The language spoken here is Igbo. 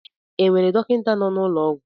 E nwere dọkịta nọ n'ụlọ ọgwụ?